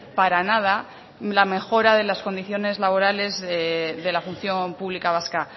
para nada la mejora de las condiciones laborales de la función pública vasca